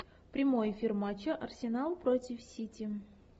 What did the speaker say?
прямой эфир матча арсенал против сити